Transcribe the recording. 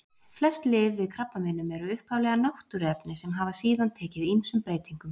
Flest lyf við krabbameinum eru upphaflega náttúruefni sem hafa síðan tekið ýmsum breytingum.